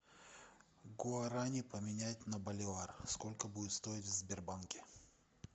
гуарани поменять на боливар сколько будет стоить в сбербанке